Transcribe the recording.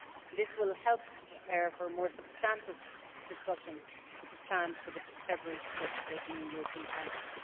This will help to prepare for a more substantive discussion which is planned for the February 2014 European Council.